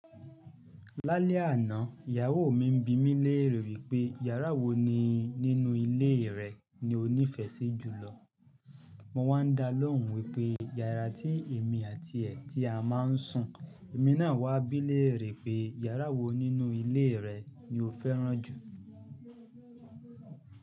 Lálẹ́ àná, ìyàwó mi ń bimí lè rè wí pé yàrá wo ni nínú ilé rẹ̀ ni ó nífẹẹ sí jùlọ. Mo wá ń dá lóhùn wípé yàrá tí èmi àti ẹ̀ ti a máa ń sùn. Èmi náà wá bí lè rè pé yàrá wo nínú ilé rẹ̀ ni o fẹ́ràn jù.